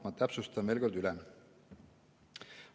Ma täpsustan veel kord üle.